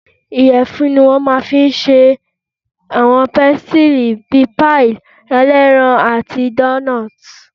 Ìyẹ̀fun ni wọ́n máa fi n ṣe àwọn pésítírì bíi páìì ẹlẹ́ran àti dóónọ́tì